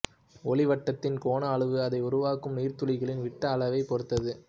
ஒளிவட்டத்தின் கோண அளவு அதை உருவாக்கும் நீர் துளிகளின் விட்ட அளவைப் பொறுத்தது